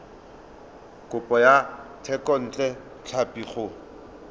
kopo ya thekontle tlhapi go